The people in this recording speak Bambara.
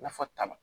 Nafa t'a la